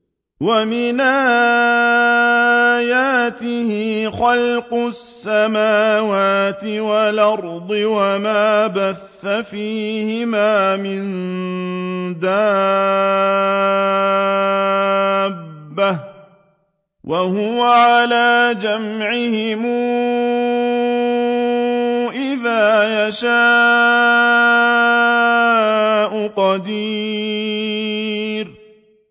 وَمِنْ آيَاتِهِ خَلْقُ السَّمَاوَاتِ وَالْأَرْضِ وَمَا بَثَّ فِيهِمَا مِن دَابَّةٍ ۚ وَهُوَ عَلَىٰ جَمْعِهِمْ إِذَا يَشَاءُ قَدِيرٌ